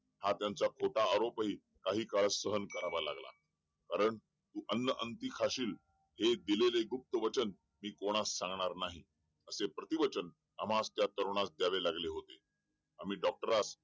हा त्यांचा खोटा आरोपही कहाणी काळ सहन करावा लागला अन्न अंती खाशील हे दिलेलं वचन कोणास सांगणार नाही असं प्रति वचन आम्हास त्या तरुणाला द्यावे लागले होते डॉक्टरास